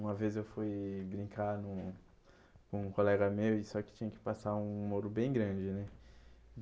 Uma vez eu fui brincar num com um colega meu, e só que tinha que passar um muro bem grande, né?